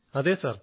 അതെ സർ